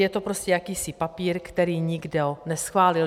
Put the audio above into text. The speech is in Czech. Je to prostě jakýsi papír, který nikdo neschválil.